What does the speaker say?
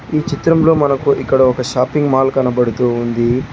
ఈ చిత్రంలో మనకు ఇక్కడ ఒక షాపింగ్ మాల్ కనబడుతుంది.